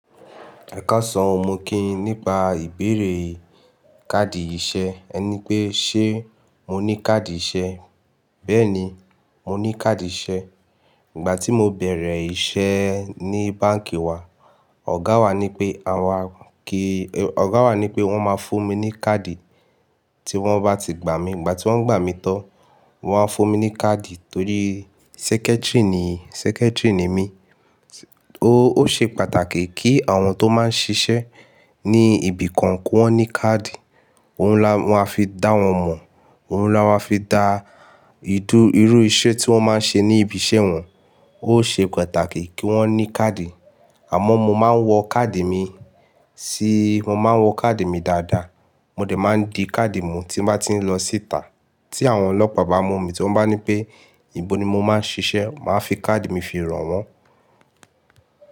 Ẹ̀kànsán mo kí yin nípa ìbéèrè káàdì iṣẹ. Ẹ ní pé ṣé mo ní káàdì ìṣe? Bẹ́ẹ̀ni, mo ní káàdì ìṣe. Ìgbà tí mo bẹ̀rẹ̀ iṣẹ́ ní báǹkì wa, ọ̀gá wa ní pé àwa kí, ọ̀gá wa ní pé wọ́n máa fún mi ní káàdì tí wọ́n bá ti gbà mí. Ìgbà tí wọ́n gbà mí tán, wọ́n á fún mi ní káàdì torí secretary ni, secretary ni mí. Ó, ó ṣe pàtàkì kí àwọn tó máa ń ṣiṣẹ́ ní ibi kan kí wọ́n ní káàdì. Òun ni a máa fi dá wọn mọ̀, òun ni a máa fi dá ìdú irú iṣẹ́ tí wọ́n máa ń ṣe ní ibi iṣẹ́ wọn. Ó ṣe pàtàkì kí wọ́n ní káàdì. Àmọ́ mo máa ń wọ káàdì mi sí, mo máa ń wọ káàdì mi dáadáa. Mo dẹ̀ máa ń di káàdì mi tí mo bá ti ń lọ síta tí àwọn ọlọ́pàá bá mọ̀ mí tí wọ́n bá ní pé, ìbò ni mo máa ń ṣiṣẹ́, màá fi káàdì mi fi ràn wọ́n.